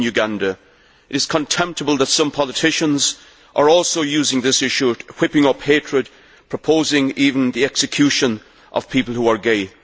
It is contemptible that some politicians are also using this issue and whipping up hatred, proposing even the execution of people who are gay.